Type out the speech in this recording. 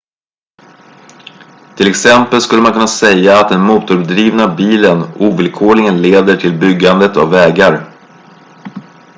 till exempel skulle man kunna säga att den motordrivna bilen ovillkorligen leder till byggandet av vägar